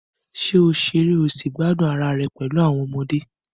Ṣé o ṣeré o sì gbádùn ara rẹ pẹ̀lú àwọn ọmọdé?